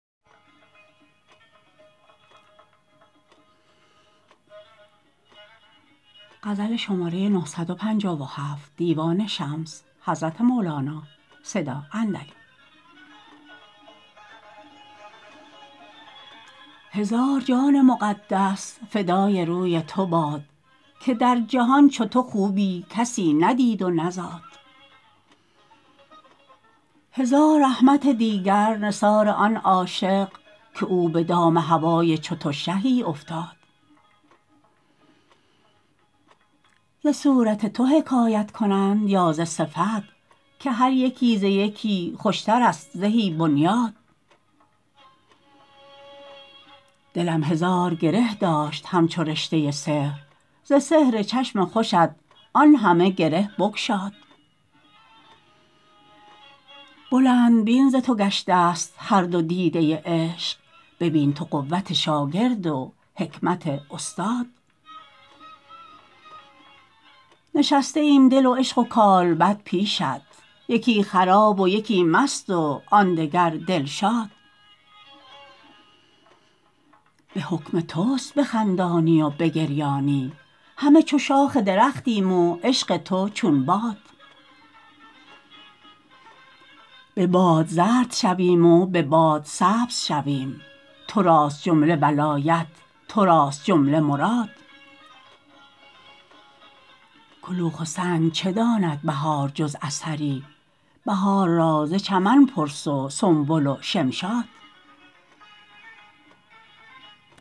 هزار جان مقدس فدای روی تو باد که در جهان چو تو خوبی کسی ندید و نزاد هزار رحمت دیگر نثار آن عاشق که او به دام هوای چو تو شهی افتاد ز صورت تو حکایت کنند یا ز صفت که هر یکی ز یکی خوشترست زهی بنیاد دلم هزار گره داشت همچو رشته سحر ز سحر چشم خوشت آن همه گره بگشاد بلندبین ز تو گشتست هر دو دیده عشق ببین تو قوت شاگرد و حکمت استاد نشسته ایم دل و عشق و کالبد پیشت یکی خراب و یکی مست وان دگر دلشاد به حکم تست بخندانی و بگریانی همه چو شاخ درختیم و عشق تو چون باد به باد زرد شویم و به باد سبز شویم تو راست جمله ولایت تو راست جمله مراد کلوخ و سنگ چه داند بهار جز اثری بهار را ز چمن پرس و سنبل و شمشاد